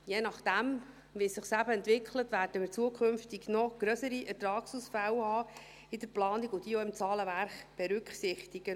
Je nachdem, wie es sich eben entwickelt, werden wir in Zukunft noch grössere Ertragsausfälle in der Planung haben und diese auch im Zahlenwerk berücksichtigen.